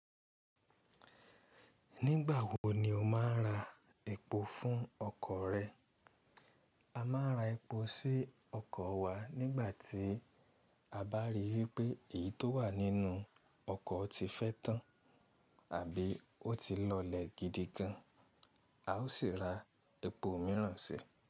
Nígbà wo ni o máa ń ra epo fún ọkọ̀ rẹ? A máa ń ra epo sí ọkọ̀ wa nígbà tí a bá rí eipé èyí tó wà nínú ọkọ̀ ti fẹ́ tán àbí ó ti lọlẹ̀ gidi gan. A ó sì ra epo mìíràn sí i.